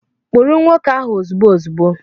Kpụrụ nwoke ahụ ozugbo ozugbo!